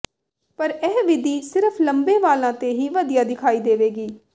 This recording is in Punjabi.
ਪਰ ਇਹ ਵਿਧੀ ਸਿਰਫ ਲੰਮੇ ਵਾਲਾਂ ਤੇ ਹੀ ਵਧੀਆ ਦਿਖਾਈ ਦੇਵੇਗੀ